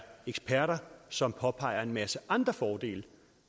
eksperter som påpeger en masse andre fordele